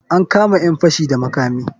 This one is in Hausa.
An kama ƴan fashi da makami.